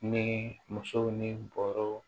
Ni musow ni bɔrɔw